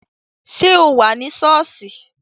Ṣé o wà ní sọ́ọ̀sì?